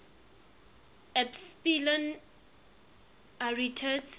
epsilon arietids